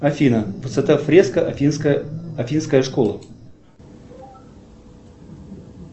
афина высота фреска афинская школа